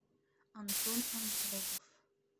антон антропов